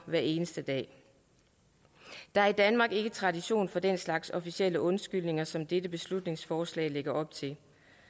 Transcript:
hver eneste dag der er i danmark ikke tradition for den slags officielle undskyldninger som dette beslutningsforslag lægger op til